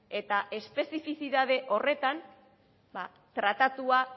eta espezifititate horretan tratatua